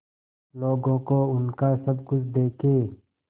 लोगों को उनका सब कुछ देके